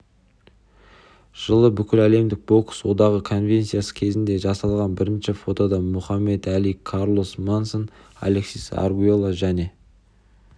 жылы бүкіләлемдік бокс одағы конвенциясы кезінде жасалған бірінші фотода мұхаммед әли карлос монсон алексис аргуэльо және